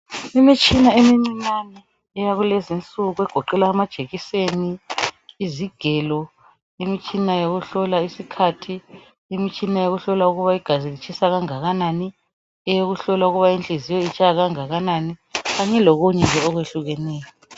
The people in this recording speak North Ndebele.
imitshina emincinyane eyakulezinsuku egoqela amajekiseni izigelo imitshina yokuhlola isikhathi imitshina yokuhlola ukuba igazi litshisa kangakanani eyokuhlola ukuba inhliziyo itshaya kangakanani kanye lokunye nje okwehlukeneyo